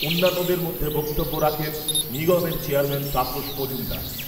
অন্যান্যদরে মধ্যে বক্তব্য রাখেন নিগমের চেয়ারম্যান তাপস মজুমদার।